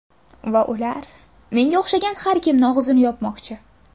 Va ular menga o‘xshagan har kimni og‘zini yopmoqchi.